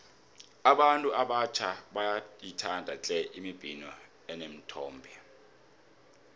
abantu abatjha bayayithanda tle imibhino eneenthombe